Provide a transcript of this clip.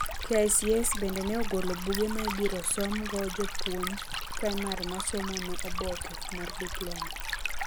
KICS bendo neogolo buge maibiro e som go jopuonj praimar ma somo ne oboke mar diploma.